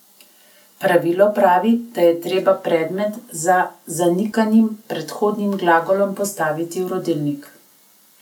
Pravilo pravi, da je treba predmet za zanikanim prehodnim glagolom postaviti v rodilnik.